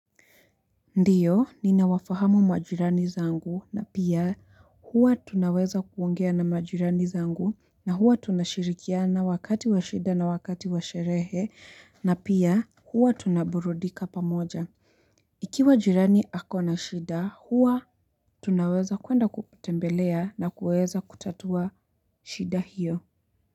Ndiyo ninawafahamu majirani zangu na pia huwa tunaweza kuongea na majirani zangu na huwa tunashirikiana wakati wa shida na wakati wa sherehe na pia huwa tunaburudika pamoja. Ikiwa jirani ako na shida huwa tunaweza kuenda kutembelea na kuweza kutatua shida hiyo.